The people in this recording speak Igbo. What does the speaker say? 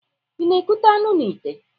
I na-ekute anụ na ìtè?